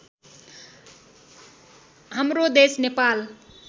हाम्रो देश नेपाल